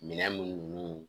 Minɛn minnu